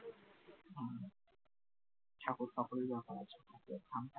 ঠাকুর ফাকুরের ব্যাপার আছে